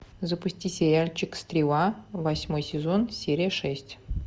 запусти сериальчик стрела восьмой сезон серия шесть